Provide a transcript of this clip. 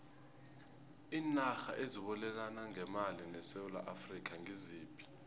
iinarha ezibolekana ngemali nesewula afrika ngiziphi